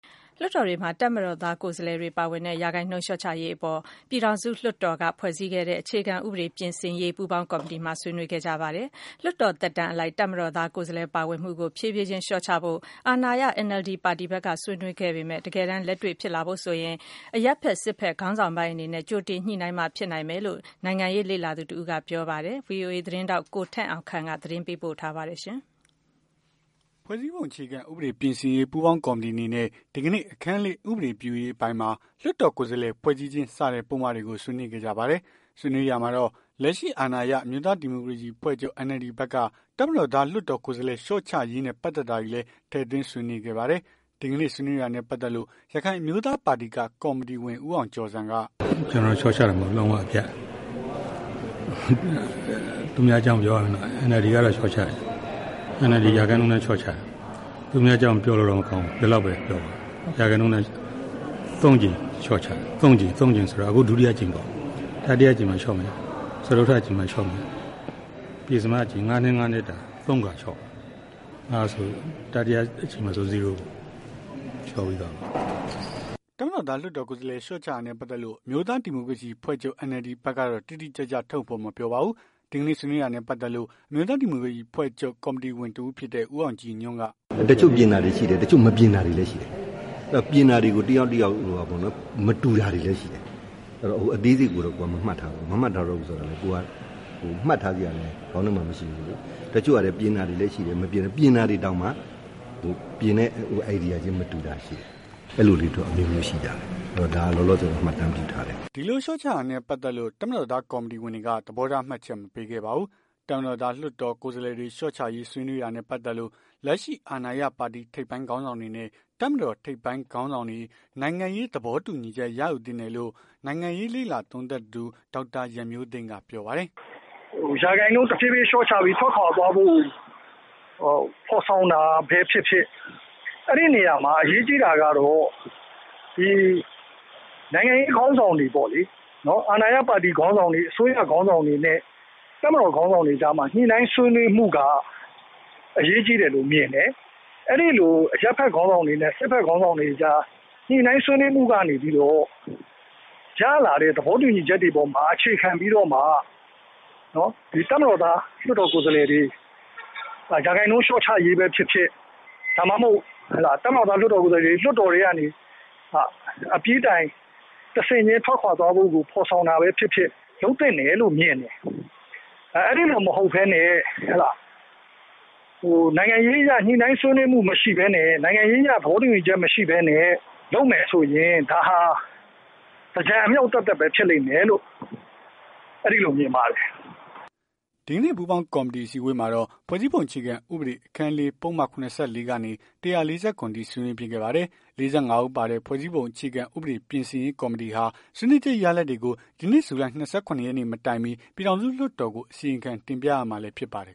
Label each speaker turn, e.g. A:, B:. A: လွှတ်တော်တွေမှာ တပ်မတော်ကိုယ်စားလှယ် ပါဝင်မှုရာခိုင်နှုန်းလျော့ချရေးအပေါ် ပြည်ထောင်စု လွှတ်တော်က ဖွဲ့ခဲ့တဲ့ ဖွဲ့စည်းပုံ အခြေခံဥပဒေပြင်ဆင်ရေး ပူးပေါင်းကော်မတီမှာ ဆွေးနွေးခဲ့ကြပါတယ်။ လွှတ်တော်သက်တမ်းအလိုက် တပ်မတော်သား ကိုယ်စားလှယ်ပါဝင်မှုကို လျှော့ချဖို့ အာဏာရ NLD ပါတီဖက်က ဆွေးနွေးခဲ့ပေမယ့်၊ တကယ်တမ်း လက်တွေ့ဖြစ်လာဖို့ဆိုရင် အရပ်ဖက် စစ်ဖက် ခေါင်းဆောင်ပိုင်းအနေနဲ့ ကြိုတင်ညှိနိူင်းမှ ဖြစ်နိုင်မယ်လို့ နိုင်ငံရေးလေ့လာသူတဦးက ပြောပါတယ်။ ဗွီအိုအေ သတင်းထောက် ကိုထက်အောင်ခန့်သတင်းပေးပို့ထားပါတယ်။
B: ဖွဲ့စည်းပုံ အခြေခံဥပဒေ ပြင်ဆင်ရေး ပူးပေါင်းကော်မတီအနေနဲ့ ဒီကနေ့ အခန်း ၄ ဥပဒေပြုရေးအပိုင်းမှာ လွှတ်တော်ကိုယ်စားလှယ် ဖွဲ့စည်းခြင်း စတဲ့ ပုဒ်မတွေကိုတွေ ဆွေးနွေးခဲ့ကြပါတယ်။ ဆွေးနွေးရာမှာတော့ လက်ရှိအာဏာရ အမျိုးသားဒီမိုကရေစီ အဖွဲ့ချုပ် NLD ဘက်က တပ်မတော်သား လွှတ်တော်ကိုယ်စားလှယ် လျော့ချရေးနဲ့ ပတ်သက်တာတွေလည်း ထည့်သွင်းဆွေးနွေးခဲ့ပါတယ်။ ဒီကနေ့ ဆွေးနွေးတာနဲ့ပတ်သက်လို့ ရခိုင်အမျိုးသားပါတီက ကော်မတီဝင် ဦးအောင်ကျော်ဇံ က "
A: ကျွန်တော်က လျော့ချတာ မဟုတ်ဘူး လုံးဝအပြတ် သူများအကြောင်းကိုပြောရရင်တော့ NLD ကလျော့ချမယ်။ NLD က ရာခိုင်နှုန်းအတိုင်း လျော့ချမယ်။ သူများအကြောင်းပြောလို့ မကောင်းဘူး ဒီလောက်ပဲပြောပါမယ်။ ရာခိုင်နှုန်းအတိုင်း ၃ ကြိမ် လျော့ချမယ်။ ၃ ကြိမ်ဆိုတာ အခု ဒုတိယအကြိမ်ပေါ့။ တတိယအကြိမ်မှာ လျော့မယ်။ စတုတ္ထ အကြိမ်မှာလျော့မယ်။ ပဉ္စမအကြိမ် ၅ နှစ် ၅ နှစ်တာ ၃ ခါလျော့မယ်။ အဲ့ဒါဆို တတိယအကြိမ်မှာဆို Zero ပေါ့ဗျာ။ လျော့ပြီးသွားမှာပေါ့
B: ။" တပ်မတော်သား လွှတ်တော်ကိုယ်စားလှယ် လျော့ချတာနဲ့ ပတ်သက်လို့ အမျိုးသားဒီမိုကရေစီ အဖွဲ့ချုပ် NLD ဘက်ကတော့ တိတိကျကျ ထုတ်ဖော်မပြောပါဘူး။ ဒီကနေ့ ဆွေးနွေးတာနဲ့ ပတ်သက်လို့ အမျိုးသားဒီမိုကရေစီအဖွဲ့ချုပ် က ကော်မတီဝင်တစ်ဦးဖြစ်တဲ့ ဦးအောင်ကြည်ညွှန့်က "တချို့ပြင်တာတွေရှိတယ်။ တချို့မပြင
A: ်တာတွေလည်းရှိတယ်။ ပြင်တာတွေကို တယောက်နဲ့ တယောက် မတူတာတွေလည်းရှိတယ်။ အဲ့တော့ အသေးစိတ်ကိုတော့ မမှတ်ထားလိုက်ဘူး။ မမှတ်ထားလိုက်ဘူးဆိုတာက မှတ်ထားလောက်အောင်လည်း ခေါင်းထဲမှာမရှိဘူး။ တချို့ကလည်း ပြင်တာတွေလည်းရှိတယ်။ ပြင်တာတွေ တောင်မှ ပြင်တဲ့ Idea ခြင်း မတူတာရှိတယ်။ အဲ့လို လေးတွေတော့ ရှိကြတယ်။
B: " ဒီလိုလျော့ချတာနဲ့ပတ်သက်လို့ တပ်မတော်သား ကော်မတီဝင်တွေက သဘောထား မှတ်ချက် မပေးခဲ့ပါဘူး။ တပ်မတော်သား လွှတ်တော်ကိုယ်စားလှယ် လျော့ချရေးဆွေးနွေးတာနဲ့ပတ်သက်လို့ လက်ရှိအာဏာရ ပါတီ ထိပ်ပိုင်းခေါင်းဆောင်တွေနဲ့ တပ်မတော်ထိပ်ပိုင်းခေါင်းဆောင်တွေ နိုင်ငံရေး သဘောတူညီချက် ရယူသင့်တယ်လို့ နိုင်ငံရေး လေ့လာသုံးသပ်သူ ဒေါက်တာ ရန်မျိုးသိမ်းကပြောပါတယ်။ "ရာခိုင်နှုန်းတဖြေးဖြေ
C: းလျော့ချပြီး ထွက်ခွာသွားဖို့ ဖော်ဆောင်တာပဲဖြစ်ဖြစ် အဲ့ဒီနေရာမှာ အရေးကြီးတာကတော့ ဒီနိုင်ငံရေးခေါင်းဆောင်တွေပေါ့လေ။ အာဏာရ ပါတီခေါင်းဆောင်တွေ၊ အစိုးရခေါင်းဆောင်တွေနဲ့ တပ်မတော် ခေါင်းဆောင်တွေကြားမှာ ညှိနှိုင်းဆွေးနွေးမှုက အရေးကြီးတယ်လို့ မြင်တယ်။ အဲ့ဒီလို အရပ်ဖက်ခေါင်းဆောင် တွေနဲ့ စစ်ဖက် ခေါင်းဆောင်တွေကြား ညှိနှိုင်းဆွေးနွေးမှုကနေပြီးတော့ ရလာတဲ့ သဘောတူညီချက် တွေကို အခြေခံပြီးတော့မှ တပ်မတော်သား လွှတ်တော်ကိုယ်စားလှယ်တွေ ရာခိုင်နှုန်း လျော့ချရေးပဲဖြစ်ဖြစ် ဒါမှမဟုတ် တပ်မတော်သား လွှတ်တော်ကိုယ်စားလှယ်တွေ လွှတ်တော်ထဲကနေ အပြီးတိုင် တဆင့်ခြင်း ထွက်ခွာသွားဖို့ကို ဖော်ဆောင်တာပဲဖြစ်ဖြစ် လုပ်သင့်တယ်လို့မြင်တယ်။ အဲ့ဒီလိုမဟုတ်ဘဲ နဲ့ နိုင်ငံရေးအရ ညှိနှိုင်းဆွေးနွေးမှု မရှိဘဲနဲ့ နိုင်ငံရေးအရ သဘောတူညီချက်မရှိဘဲ လုပ်မယ်ဆိုရင် ဒါဟာ သင်္ကြန်အမြှောက်ပဲ ဖြစ်လိမ့်မယ်လို့
B: ကျွန်တော်မြင်တယ်။" ဒီကနေ့ပူးပေါင်းကော်မတီ အစည်းအဝေးမှာတော့ ဖွဲ့စည်းပုံအခြေခံဥပဒေ အခန်း ၄ ပုဒ်မ ၇၄ ကနေ ၁၄၇ အထိ ဆွေးနွေးဖြစ်ခဲ့ပါတယ်။၄၅ ဦးပါတဲ့ ဖွဲ့စည်းပုံအခြေခံဥပဒေပြင်ဆင်ရေး ပူးပေါင်းကော်မတီဟာ ဆွေးနွေးချက်ရလဒ်တွေကို ဒီနှစ် ဇူလိုင်လ ၂၇ ရက်နေ့ မတိုင်မှ ပြည်ထောင်စု လွှတ်တော်ကို အစီရင်ခံတင်ပြရမှာဖြစ်ပါတယ်